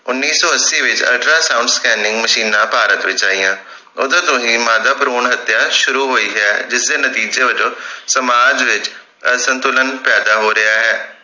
ਉੱਨੀ ਸੋ ਅੱਸੀ ਵਿਚ ultra sound scanning ਮਸ਼ੀਨਾਂ ਭਾਰਤ ਵਿਚ ਆਈਆਂ ਓਦੋਂ ਤੋਂ ਹੀ ਮਾਦਾ ਭਰੂਣ ਹਤਿਆ ਸ਼ੁਰੂ ਹੋਈ ਹੈ ਜਿਸ ਦੇ ਨਤੀਜੇ ਵੱਜੋਂ ਸਮਾਜ ਵਿਚ ਅਸੰਤੁਲਨ ਪੈਦਾ ਹੋ ਰਿਹੇ